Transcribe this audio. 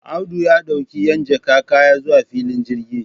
Audu ya d'auki 'yan jaka kaya zuwa filin jirgi.